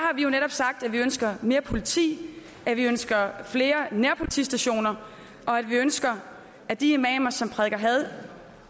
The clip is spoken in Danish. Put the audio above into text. sagt at vi ønsker mere politi at vi ønsker flere nærpolitistationer og at vi ønsker at de imamer som prædiker had